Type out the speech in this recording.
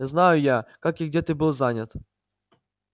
знаю я как и где ты был занят